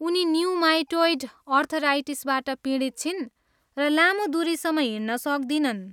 उनी ऱ्युमाटोइड आर्थराइटिसबाट पीडित छिन् र लामो दुरीसम्म हिँड्न सक्दिनन्।